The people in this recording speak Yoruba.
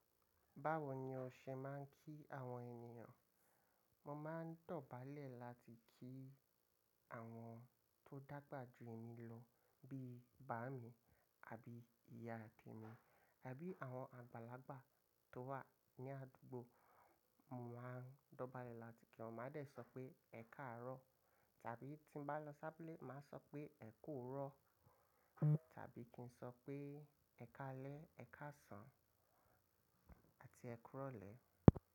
Báwo ni o ṣe máa ń kí àwọn ènìyàn? Mo máa ń dọ̀bálẹ̀ láti kí àwọn tó dàgbà jù mí lọ bí bàámi àbí ìyá temi àbí àwọn àgbàlagbà tó wà ní àdúgbò. Mo máa ń dọ̀bálẹ̀ láti kí wọ́n, màá dẹ̀ sọ pé “ẹkáàárọ̀” tàbí tí n bá lọ ṣa ábulé, màá sọ pé “ẹ ku owurọ̀” tàbí kí n sọ pé “ẹ káalẹ́”, “ẹ káàsán” àti “ẹ kúrọ̀lẹ̀”.